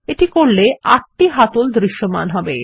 এটি করলে আটটি হাতল দৃশ্যমান হবে